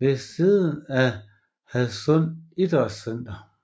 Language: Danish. ved siden af Hadsund Idrætscenter